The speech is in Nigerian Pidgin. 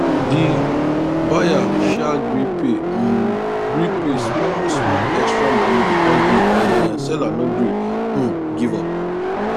di buyer sha gree pay um gree pay small small extra money because di um seller no gree um give up